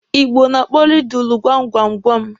Igbo na-akpọ rịdụlụ gwam gwam gwam.